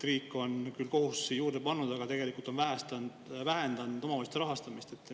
Riik on küll kohustusi juurde pannud, aga tegelikult vähendanud omavalitsuste rahastamist.